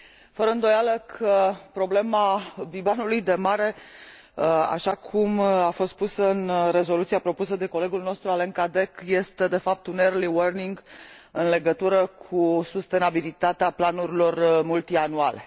Fără îndoială, problema bibanului de mare, așa cum a fost pusă în rezoluția propusă de colegul nostru Alain Cadec, este de fapt un early warning în legătură cu sustenabilitatea planurilor multianuale.